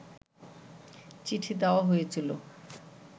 চিঠি দেয়া হয়েছিল